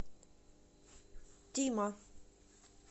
тима